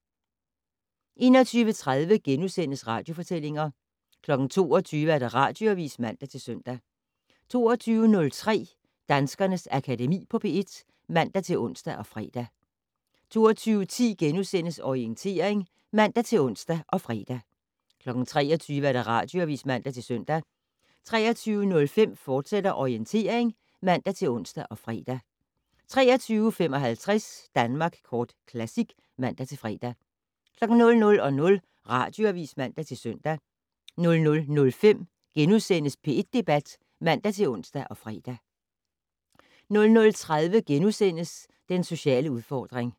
21:30: Radiofortællinger * 22:00: Radioavis (man-søn) 22:03: Danskernes Akademi på P1 (man-ons og fre) 22:10: Orientering *(man-ons og fre) 23:00: Radioavis (man-søn) 23:05: Orientering, fortsat (man-ons og fre) 23:55: Danmark Kort Classic (man-fre) 00:00: Radioavis (man-søn) 00:05: P1 Debat *(man-ons og fre) 00:30: Den sociale udfordring *